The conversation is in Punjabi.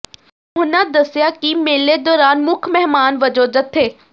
ਉਹਨਾਂ ਦੱਸਿਆ ਕਿ ਮੇਲੇ ਦੌਰਾਨ ਮੁੱਖ ਮਹਿਮਾਨ ਵਜੋਂ ਜਥੇ